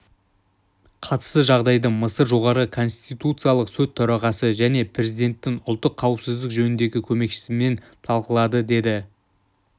қатысты жағдайды мысыр жоғарғы конституциялық сот төрағасы және президентінің ұлттық қауіпсіздік жөніндегі көмекшісімен талқылады деді